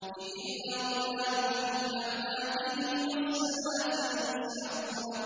إِذِ الْأَغْلَالُ فِي أَعْنَاقِهِمْ وَالسَّلَاسِلُ يُسْحَبُونَ